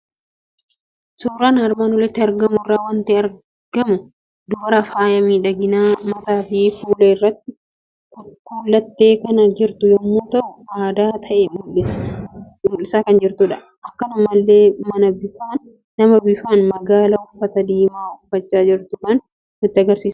Suuraa armaan olitti argamu irraa waanti argamu dubara faayaa miidhaginaa mataafi fuula irratti kuullattee kan jirtu yommuu ta'u, aadaa ta'ee mul'isaa kan jirtudha. Akkanumallee nama bifaan magaala uffata diimaa uffachaa jirtu kan nutti agarsiisudha.